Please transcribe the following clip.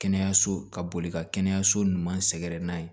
Kɛnɛyaso ka boli ka kɛnɛyaso ɲuman sɛgɛrɛ n'a ye